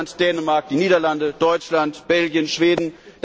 Estland, Dänemark, die Niederlande, Deutschland, Belgien, Schweden.